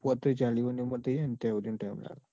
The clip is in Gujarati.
પોતરી ચાલી વર ની ઉંમર થઇ જાય ત્યાં હુંદીનો time લાગ.